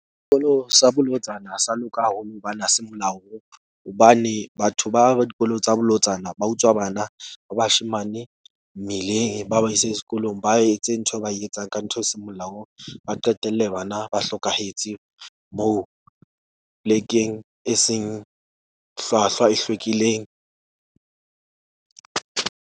Dikolo sa bolotsana ha sa loka haholo hobane ha se molaong, hobane batho ba ba dikolo tsa bolotsana ba utswa bana ba bashemane mmileng. Ba ba ise sekolong, ba etse ntho e ba e etsang ka ntho e seng molaong. Ba qetelle bana ba hlokahetse moo plek-eng e seng hlwahlwa e hlwekileng.